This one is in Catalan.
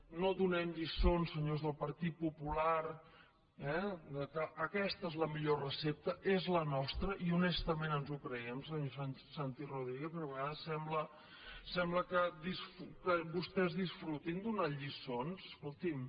i no donem lliçons senyors del partit popular eh que aquesta és la millor recepta és la nostra i honestament ens ho creiem senyor santi rodríguez perquè de vegades sembla que vostès disfrutin donant lliçons escoltin